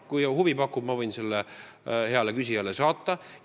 Kui huvi pakub, ma võin selle heale küsijale saata.